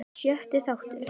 Sjötti þáttur